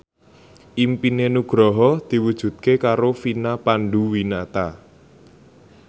impine Nugroho diwujudke karo Vina Panduwinata